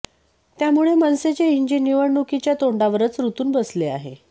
त्यामुळे मनसेचे इंजिन निवडणुकीच्या तोंडावरच रूतून बसले आहे